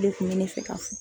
O de kun bɛ ne fɛ ka fɔ.